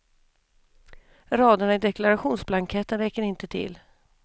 Raderna i deklarationsblanketten räcker inte till.